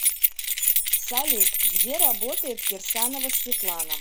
салют где работает кирсанова светлана